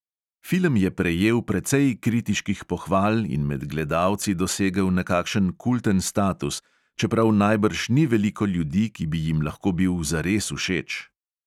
Film je prejel precej kritiških pohval in med gledalci dosegel nekakšen kulten status, čeprav najbrž ni veliko ljudi, ki bi jim lahko bil zares všeč.